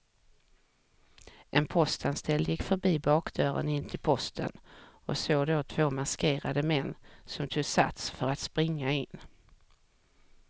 En postanställd gick förbi bakdörren in till posten och såg då två maskerade män som tog sats för att springa in.